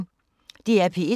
DR P1